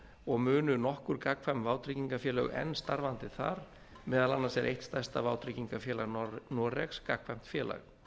og munu nokkur gagnkvæm vátryggingafélög enn starfandi þar meðal annars er eitt stærsta vátryggingafélag noregs gagnkvæmt félag